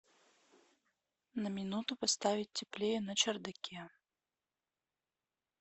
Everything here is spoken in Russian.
на минуту поставить теплее на чердаке